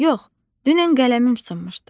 Yox, dünən qələmim sınmışdı.